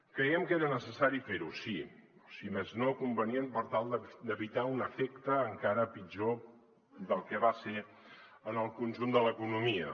creiem que era necessari fer ho sí o si més no convenient per tal d’evitar un efecte encara pitjor del que va ser en el conjunt de l’economia